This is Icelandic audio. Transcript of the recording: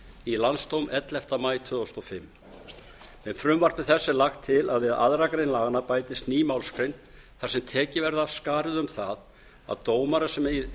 í landsdóm ellefta maí tvö þúsund og fimm með frumvarpi þessu er lagt til að við aðra grein laganna bætist ný málsgrein þar sem tekið verði af skarið um það að dómarar sem